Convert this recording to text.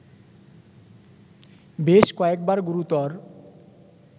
বেশ কয়েকবার গুরুতর